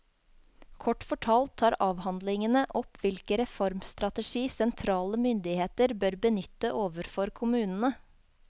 Kort fortalt tar avhandlingen opp hvilke reformstrategi sentrale myndigheter bør benytte overfor kommunene.